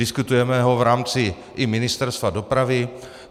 Diskutujeme ho v rámci i Ministerstva dopravy.